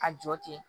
A jɔ ten